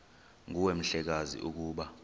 nguwe mhlekazi ukuba